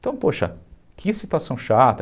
Então, poxa, que situação chata.